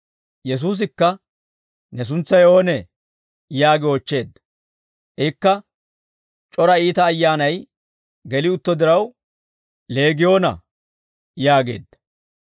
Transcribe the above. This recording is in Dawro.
Yesuusikka, «Ne suntsay oonee?» yaagi oochcheedda. Ikka c'ora iita ayyaanay geli utto diraw, «Leegiyoona» yaageedda.